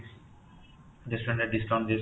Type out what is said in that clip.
restaurant ରେ discount ଦିୟା ଯାଉଛି